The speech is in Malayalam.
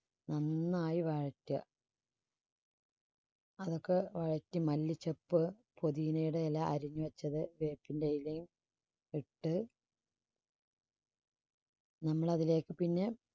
നന്നായി വഴറ്റുക അതൊക്കെ വഴറ്റി മല്ലിച്ചപ്പ് പൊതിനയുടെ ഇല അരിഞ്ഞുവച്ചത് വേപ്പിന്റെ ഇലയും ഇട്ട് നമ്മൾ അതിലേക്ക് പിന്നെ